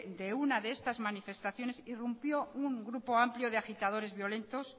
de una de estas manifestaciones irrumpió un grupo amplío de agitadores violentos